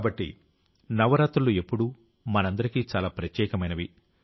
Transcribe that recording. కాబట్టి నవరాత్రులు ఎప్పుడూ మనందరికీ చాలా ప్రత్యేకమైనవి